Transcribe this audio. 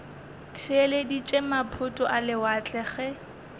theeleditše maphoto a lewatle ge